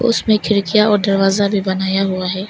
उसमें खिड़कियां और दरवाजा भी बनाया हुआ है।